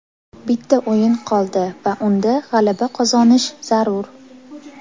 Bitta o‘yin qoldi va unda g‘alaba qozonish zarur.